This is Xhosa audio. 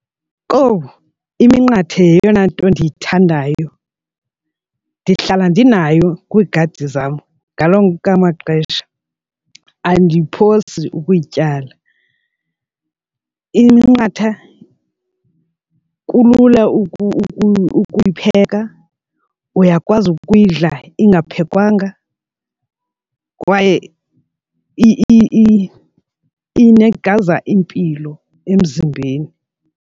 Owu iminqathe yeyona nto ndiyithandayo, ndihlala ndinayo kwiigadi zam ngalo onke maxesha. Andiyiphosi ukuyityala. Iminqatha kulula ukuyipheka, uyakwazi ukuyidla ingaphekwanga kwaye inikeza impilo emzimbeni.